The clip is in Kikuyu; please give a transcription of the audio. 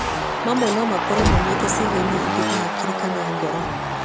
Mamwe no makorwo maumĩte ciĩga-inĩ ingĩ ta hakiri kana ngoro.